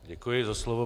Děkuji za slovo.